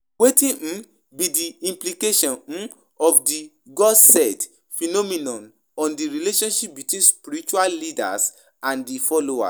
Wetin um be di implication um of di 'God said' phenomenon on di relationship between spiritual leaders and di followers?